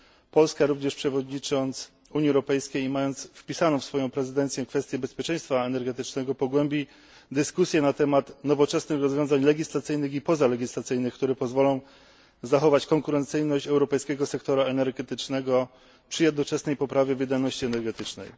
Polska, przewodnicząc Unii Europejskiej i mając wpisaną w swoją prezydencję kwestię bezpieczeństwa energetycznego, również pogłębi dyskusję na temat nowoczesnych rozwiązań legislacyjnych i pozalegislacyjnych, które pozwolą zachować konkurencyjność europejskiego sektora energetycznego przy jednoczesnej poprawie wydajności energetycznej.